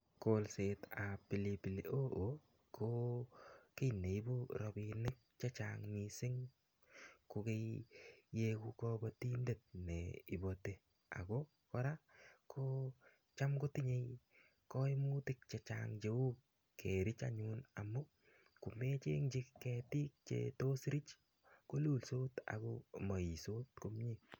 kolset ab pilipili hoho ko ki neibu rabinik che chang mising ko kobotindet ne iboti ako kora ko cham kotinye koimutik chechang kou kerech. ngomechenykchi ketik che tos rich kolustos ama uytos komyie